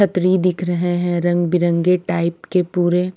अत्रि दिख रहे है रंग बिरंगे टाइप के पूरे--